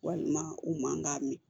Walima u man ka min